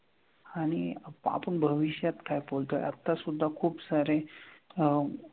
आणि आपण भविष्यात काय बोलतोय आतासुद्धा खूपसारे अह